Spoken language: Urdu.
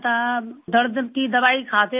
درد کی دوائی کھاتے رہے، چھوٹے